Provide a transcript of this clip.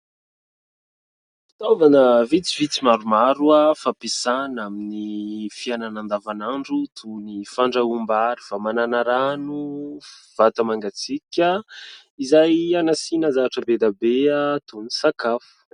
Fitaovana vitsivitsy maromaro, fampiasana amin'ny fiainana andavan'andr toy ny fahandroam-bary, famanana rano, vata mangatsiaka izay hanasiana zavatra be dia be toy ny sakafo.